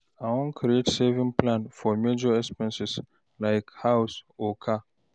I wan create savings plan for major expenses, like house or car.